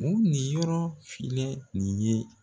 Mun ni yɔrɔ filɛ nin ye